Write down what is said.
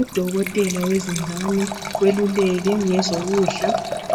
Udokotela wezingane weluleke ngezokudla